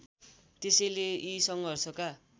त्यसैले यी सङ्घर्षका